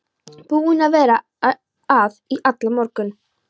Búin að vera að í allan morgun.